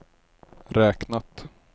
räknat